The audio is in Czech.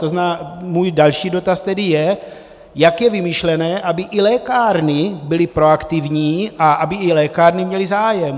To znamená, můj další dotaz tedy je, jak je vymyšlené, aby i lékárny byly proaktivní a aby i lékárny měly zájem.